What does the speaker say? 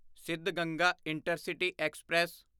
Siddhaganga intercity express